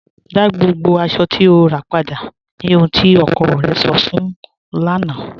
Dá gbogbo aṣọ̀ tí o rà padà, ní ọhun tí ọkọ̀ rẹ̀ sọ̀ fun ụ lána